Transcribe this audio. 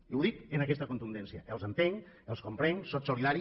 i ho dic amb aquesta contundència que els entenc els comprenc sóc solidari